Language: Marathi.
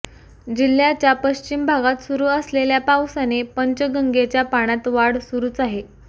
जिल्ह्याच्या पश्चिम भागात सुरू असलेल्या पावसाने पंचगंगेच्या पाण्यात वाढ सुरूच आहे